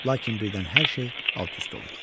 Lakin birdən hər şey alt-üst olur.